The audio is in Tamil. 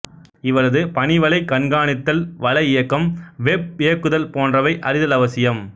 இவரது பணி வலை கண்காணித்தல் வலை இயக்கம் வெப் இயக்குதல் போன்றவை அறிதல் அவசியம்